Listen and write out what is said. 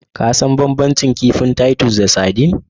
Ka san banbancin kifin Titus da sardine?